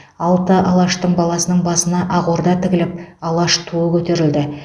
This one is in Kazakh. алты алаштың баласының басына ақ орда тігіліп алаш туы көтерілді